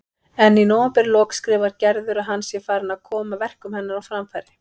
En í nóvemberlok skrifar Gerður að hann sé farinn að koma verkum hennar á framfæri.